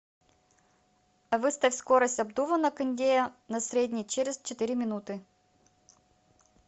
выставь скорость обдува на кондее на средний через четыре минуты